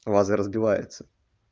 лазер сбивается